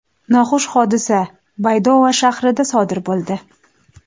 Noxush hodisa Baydoa shahrida sodir bo‘ldi.